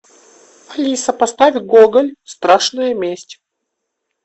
алиса поставь гоголь страшная месть